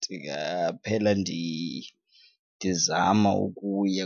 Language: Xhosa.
Ndingaphela ndizama ukuya